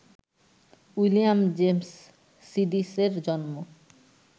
William James সিডিসের জন্ম